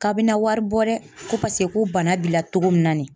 K'a bina wari bɔ dɛ, ko paseke ko bana b'i la cogo min na nin ye